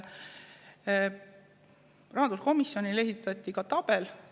Rahanduskomisjonile esitati ka vastav tabel.